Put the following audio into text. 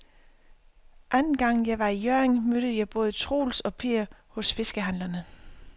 Anden gang jeg var i Hjørring, mødte jeg både Troels og Per hos fiskehandlerne.